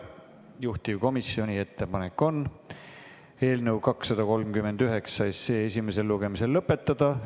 Juhtivkomisjoni ettepanek on eelnõu 239 esimene lugemine lõpetada.